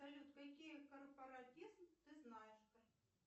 салют какие корпоратизм ты знаешь